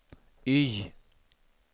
Y